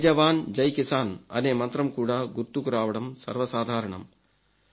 జై జవాన్ జై కిసాన్ అనే మంత్రం కూడా గుర్తుకు రావడం సర్వ సాధారణం